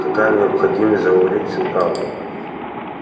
какая необходимость говорить всю правду